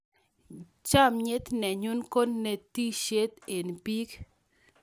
Chamiet nenyon ko netishiet eng' pik